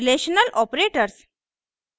relational operators